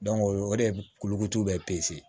o ye o de ye kuluko bɛɛ